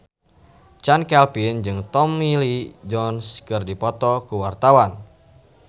Chand Kelvin jeung Tommy Lee Jones keur dipoto ku wartawan